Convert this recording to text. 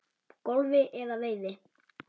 golfi eða veiði.